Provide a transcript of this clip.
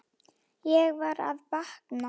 Ég var að vakna.